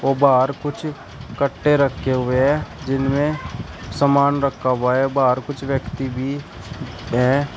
बाहर कुछ कट्टे रखे हुए हैं जिनमें सामान रखा हुआ है बाहर कुछ व्यक्ती भी है।